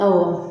Awɔ